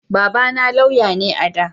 Baba na lauya ne a da